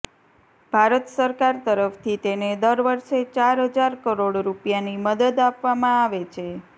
ભારત સરકાર તરફ્થી તેને દર વરસે ચાર હજાર કરોડ રૂપિયાની મદદ આપવામાં આવે છે